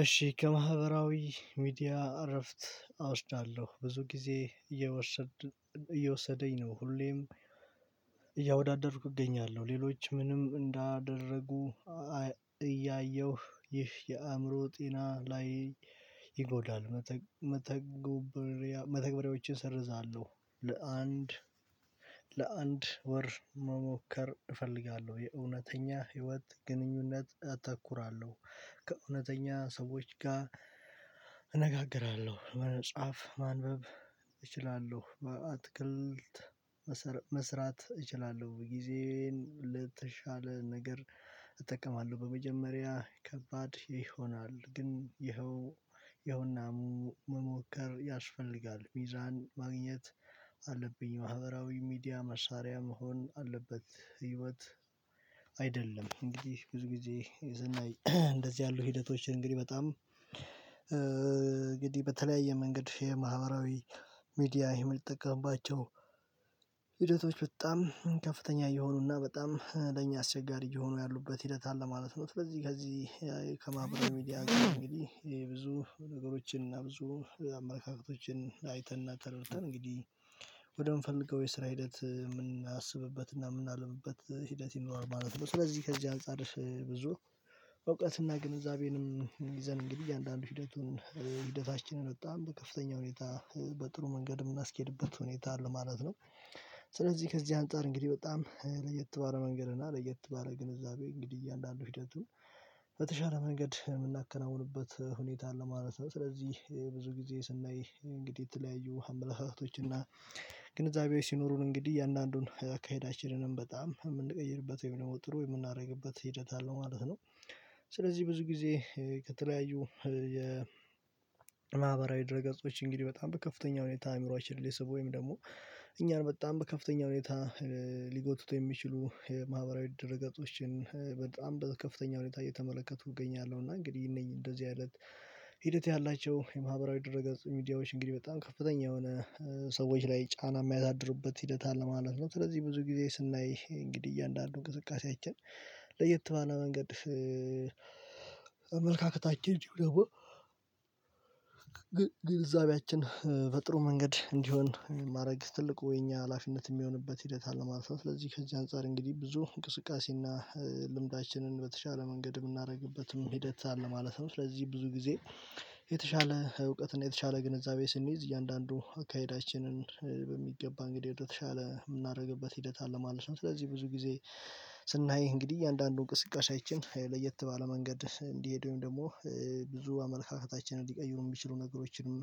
እሺ ከማህበራዊ ሚዲያ እረፍት አውርቻለሁ ብዙ ጊዜ እየወሰደኝ ነው ሁሌም እያወዳደርኩ እገኛለሁ። ሌሎች ምንም እንዳደረጉ እያየሁ ይህ የአእምሮ ጤና ላይ ይጎዳሉ። መተግበሪያዎችን ሰርዛለሁ ለአንድ ለአንድ ወር መሞከር እፈልጋለሁ። የእውነተኛ ህይወት ግንኙነት እተኩራለሁ። ከእውነተኛ ሰዎች ጋር እነጋግራለሁ። በጻፍ፣ ማንበብ እችላለሁ። አትክልት መስራት እችላለሁ። ጊዜን ነገር እጠቀማለሁ። በመጀመሪያ ከባድ ይሆናል። ግን ይኸው ይኸውናሙ መሞከር ያስፈልጋል። ሚዛን ማግኘት አለብኝ። ማህበራዊ ሚዲያ መሳሪያ መሆን አለበት። ህይወት አይደለም እንግዲህ ብዙ ጊዜ የዘና እንደዚህ ያሉ ሂደቶችን እንግዲህ በጣም እንግዲህ በተለያየ መንገድ የማህበራዊ ሚድያ የምጠቀማቸው ሂደቶች በጣም ከፍተኛ እየሆኑና በጣም ለኛ አስቸጋሪ እየሆኑ ያሉበት ሂደት አለ ማለት ነው። ከዚህ ከዚህ ከማህበራዊ ሚዲያ ግን እንግዲህ ይሄ ብዙ ነገሮችን እና ብዙ አመለካከቶችን አይተን እና ተረድተን እንግዲህ ወደምፈልገው የስራ ሂደት የምናስብበት እና የምናልምበት ሂደት ይኖር ማለት ነው። ስለዚህ ከዚህ አንፃርሽ ብዙ በእውቀትና ግንዛቤንም ይዘን እንግዲህ አንዳንድ ሂደቱን ሂደታችንን በጣም በከፍተኛ ሁኔታ በጥሩ መንገድ የምናስኬድበት ሁኔታ አለ ማለት ነው። ስለዚህ ከዚህ አንፃር እንግዲህ በጣም ለየት ባለ መንገድ እና ለየት ባለ ግንዛቤ እንግዲህ እያንዳንዱ ሂደቱን በተሻለ መንገድ የምናከናውንበት ሁኔታ ለማለት ነው። ስለዚህ ይሄ ብዙ ጊዜ ስናይ እንግዲህ የተለያዩ አመለካከቶች እና ግንዛቤው ሲኖሩን እንግዲህ እያንዳንዱን አካሄዳችንንም በጣም የምንቀይርበት ወይም ደግሞ ጥሩ የምናደርግበት ሂደት አለው ማለት ነው። ስለዚህ ብዙ ጊዜ ከተለያዩ የማህበራዊ ድረ ገጾች እንግዲህ በጣም በከፍተኛ ሁኔታ አምሯችን ሊስቡ ወይም ደግሞ እኛን በጣም በከፍተኛ ሁኔታ ሊጎትቶ የሚችሉ የማህበራዊ ድርገጥጥጾችን በጣም በከፍተኛ ሁኔታ እየተመለከቱ እገኛለሁ። እና እንግዲህ እንደዚህ አይነት ሂደት ያላቸው የማህበራዊ ድህረገጽ ሚዲያዎች እንግዲህ በጣም ከፍተኛ የሆነ ሰዎች ላይ ጫና የሚያሳድርበት ሂደት አለ ማለት ነው። ስለዚህ ብዙ ጊዜ ስናይ እንግዲህ እያንዳንዱ እንቅስቃሴያችን ለየት ባለ መንገድ አምልካከታችን ግን ግልዛቤያችን በጥሩ መንገድ እንዲሆን ማድረግ ትልቁ የኛ ሀላፊነት የሚሆንበት ሂደት አለ ማለፍ ነው። ስለዚህ ከዚህ አንፃር እንግዲህ ብዙ እንቅስቃሴ እና ልምዳችንን በተሻለ መንገድ የምናደርግበትም ሂደት አለ ማለትም። ስለዚህ ብዙ ጊዜ የተሻለ እውቀትን የተሻለ ግንዛቤ ስንይዝ እያንዳንዱ አካሄዳችንን በሚገባ እንግዲህ የተሻለ የምናደርግበት ሂደት አለ ማለት ነው። ስለዚህ ብዙ ጊዜ ስናይ እንግዲህ እያንዳንዱን እንቅስቃሴያችን ለየት ባለ መንገድ እንዲሄድ ወይም ደግሞ ብዙ አመለካከታችንን ሊቀይሩ የሚችሉ ነገሮችንም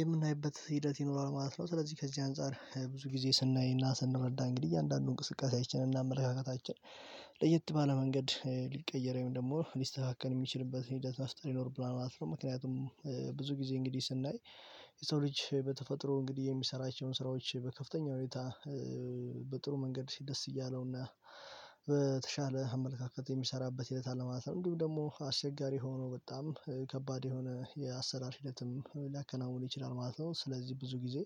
የምናይበት ሂደት ይኖራል ማለት ነው። ስለዚህ ከዚህ አንፃር ብዙ ጊዜ ስናይና ስንረዳ እንግዲህ እያንዳንዱን እንቅስቃሴያችንን እናመለካከታችን ለየት ባለ መንገድ ሊቀየረኝ ወይም ደግሞ ሊስተካከል የሚችልበት ሂደት መስጠት ይኖርብናል ማለት ነው። ምክንያቱም ብዙ ጊዜ እንግዲህ ስናይ የሰው ልጅ በተፈጥሮ እንግዲህ የሚሰራቸውን ስራዎች በከፍተኛ ሁኔታ በጥሩ መንገድ ደስ እያለውና በተሻለ አመለካከት የሚሰራበት ሂደት ማለት ነው። እንዲሁ ደግሞ አስቸጋሪ ሆኖ በጣም ከባድ የሆነ የአሰራር ሂደትም ሊያከናውኑ ይችላል ማለት ነው። ስለዚህ ብዙ ጊዜ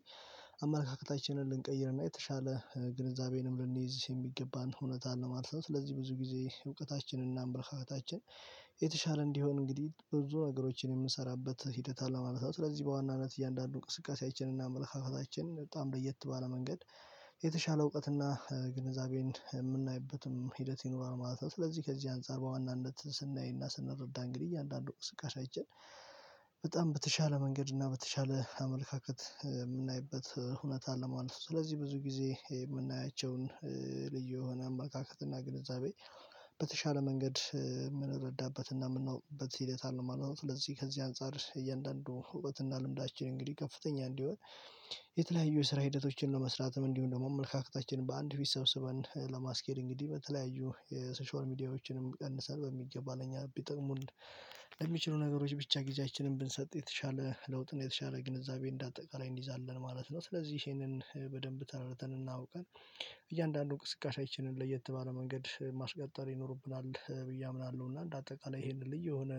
አመለካከታችንን ልንቀይርና የተሻለ ግንዛቤንም ልንይዝ የሚገባን እውነት ነው ማለት ነው። ስለዚህ ብዙ ጊዜ እውቀታችንና እምብልካታችን የተሻለ እንዲሆን እንግዲህ ብዙ ነገሮችን የምንሰራበት ሂደት አለ ማለት ነው። ስለዚህ በዋናነት እያንዳንዱ ቅስቀሳችንና አመለካከታችን በጣም ለየት ባለ መንገድ የተሻለ እውቀትና ግንዛቤን የምናይበትም ሂደት ይኖራል ማለት ነው። ስለዚህ ከዚህ አንፃር በዋናነት ስናይና ስንረዳ እንግዲህ እያንዳንዱ እንቅስቃሴያችን በጣም በተሻለ መንገድ እና በተሻለ አመለካከት የምናይበት ሁኔታ አለ ማለት ነው። ለመማር ስለዚህ ብዙ ጊዜ የምናያቸውን ልዩ የሆነ አማካካት እና ግንዛቤ በተሻለ መንገድ የምንረዳበት እና የምናውቅበት ሂደት አለ ማለት ነው። ስለዚህ ከዚህ አንፃር እያንዳንዱ እውቀት እና ልምዳችን እንግዲህ ከፍተኛ እንዲሆን የተለያዩ የስራ ሂደቶችን ለመስራትም እንዲሁም ደግሞ አመልካከታችንን በአንድ ፊት ሰብስበን ለማስኬድ እንግዲህ በተለያዩ የሶሻል ሚዲያዎችንም ቀንሰን በሚገባኝ እነኛ ቢጠቅሙን ለሚችሉ ነገሮች ብቻ ጊዜያችንን ብንሰጥ የተሻለ ለውጥን የተሻለ ግንዛቤ እንደ አጠቃላይ እንይዛለን ማለት ነው። ስለዚህ በደንብ ተረድተን እና አውቀን እያንዳንዱን እንቅስቃሴያችንን ለየት ባለ መንገድ ማስቀጠር ይኖርብናል ብዬ አምናለሁ። እና እንደ አጠቃላይ ይሄንን ልጅ የሆነ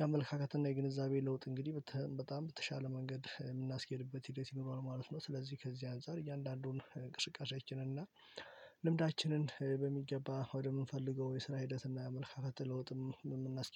የአመለካከት እና የግንዛቤ ለውጥ እንግዲህ በጣም በተሻለ መንገድ የምናስኬድበት ሂደት ይኖረዋል ማለት ነው። ስለዚህ ከዚህ አንፃር እያንዳንዱን እንቅስቃሴያችንን እና እና ልምዳችንን በሚገባ ወደምንፈልገው የስራ ሂደትና አመለካከት ለውጥም የምናስ